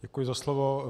Děkuji za slovo.